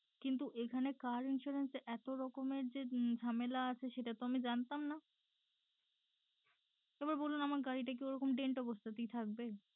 কিন্তু এখানে car insurance এ যে এত যে ঝামেলা সেটা তো আমি জানতাম না। এবার বলুন আমার গাড়িটা কি ওরকম dent অবস্থাতেই থাকবে?